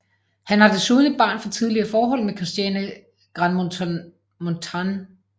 Han har desuden et barn fra tidligere forhold med Christiane Grandmontagne